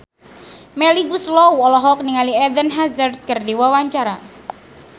Melly Goeslaw olohok ningali Eden Hazard keur diwawancara